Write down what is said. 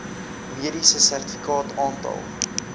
mediese sertifikaat aantal